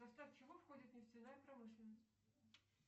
в состав чего входит нефтяная промышленность